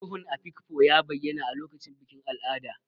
Ruhun Afikpo ya bayyana a lokacin bikin al'ada.